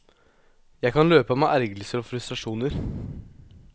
Jeg kan løpe av meg ergrelser og frustrasjoner.